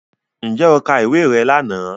Ǹjẹ́ o ka ìwé rẹ lánàá